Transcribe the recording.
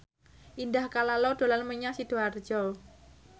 Indah Kalalo dolan menyang Sidoarjo